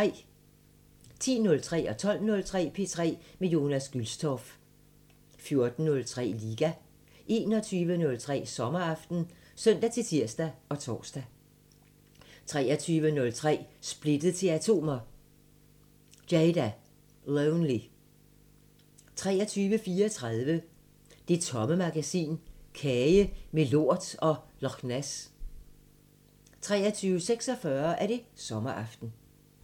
10:03: P3 med Jonas Gülstorff 12:03: P3 med Jonas Gülstorff 14:03: Liga 21:03: Sommeraften (søn-tir og tor) 23:03: Splittet til atomer – Jada: Lonely 23:34: Det Tomme Magasin: Kage med lort og Lochness 23:46: Sommeraften